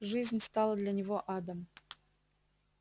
жизнь стала для него адом